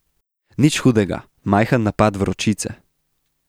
Nič hudega, majhen napad vročice.